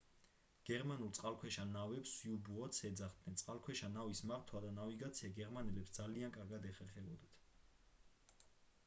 გერმანულ წყალქვეშა ნავებს u-boats ეძახდნენ წყალქვეშა ნავის მართვა და ნავიგაცია გერმანელებს ძალიან კარგად ეხერხებოდათ